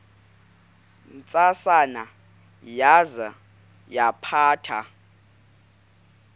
ntsasana yaza yaphatha